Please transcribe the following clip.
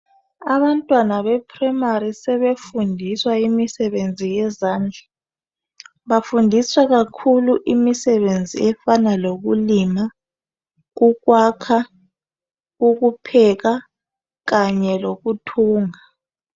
Abantwana beprayimari sebefundiswa imsebenzi yezandla. Bafundiswa kakhulu imisebenzi efana lokulima, ukwakha, ukupheka kanye lokuthunga.